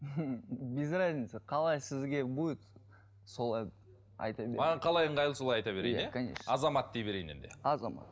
без разницы қалай сізге будет солай айта маған қалай ыңғайлы солай айта берейін иә конечно азамат дей берейін енді азамат